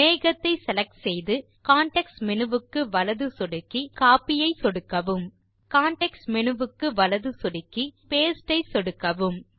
மேகத்தை செலக்ட் செய்து context menu வுக்கு வலது சொடுக்கி பின் கோப்பி ஐ சொடுக்கவும் கான்டெக்ஸ்ட் மேனு வுக்கு வலது சொடுக்கி பின் பாஸ்டே ஐ சொடுக்கவும்